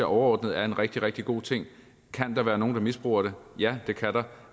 overordnet er en rigtig rigtig god ting kan der være nogen der misbruger det ja det kan der